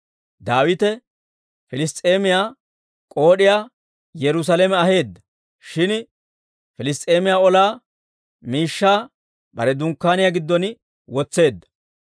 Daawite Piliss's'eemiyaa k'ood'iyaa Yerusaalame aheedda; shin Piliss's'eemiyaa ola miishshaa bare dunkkaaniyaa giddon wotseedda.